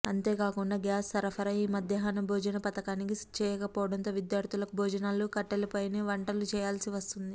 అంతేకాకుండా గ్యాస్ సరఫరా ఈ మధ్యాహ్న భోజన పథకానికి చేయకపోవడంతో విద్యార్థులకు భోజనాలను కట్టెలపైనే వంటలు చేయాల్సి వస్తుంది